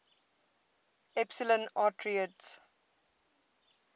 epsilon arietids